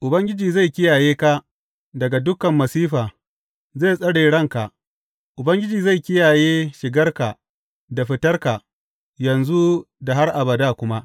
Ubangiji zai kiyaye ka daga dukan masifa, zai tsare ranka; Ubangiji zai kiyaye shigarka da fitarka yanzu da har abada kuma.